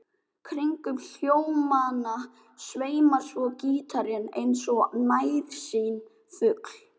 Kringum hljómana sveimar svo gítarinn eins og nærsýnn fugl.